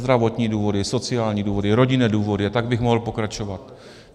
Zdravotní důvody, sociální důvody, rodinné důvody a tak bych mohl pokračovat.